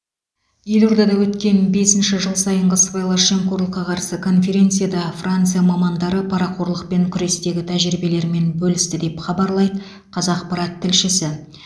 елордада өткен бесінші жыл сайынғы сыбайлас жемқорлыққа қарсы конференцияда франция мамандары парақорлықпен күрестегі тәжірибелерімен бөлісті деп хабарлайды қазақпарат тілшісі